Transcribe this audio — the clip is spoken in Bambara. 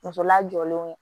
Muso lajɔlen don